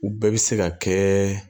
U bɛɛ bɛ se ka kɛ